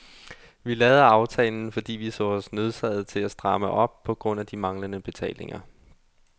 Vi lavede aftalen, fordi vi så os nødsaget til at stramme op på grund af de manglende betalinger.